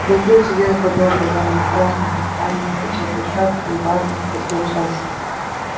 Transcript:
пугачёв сидел под образами в красном кафтане в высокой шапке и важно подбочась